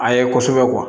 A ye kosɛbɛ